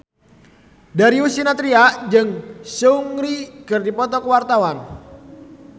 Darius Sinathrya jeung Seungri keur dipoto ku wartawan